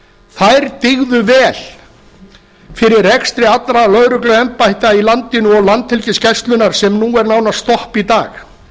þær dygðu vel fyrir rekstri allra lögregluembætta í landinu og landhelgisgæslunnar sem nú er nánast stopp í dag